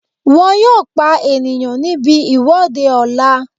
Wọ́n yóò pa ènìyàn níbi ìwọ́de ọ̀la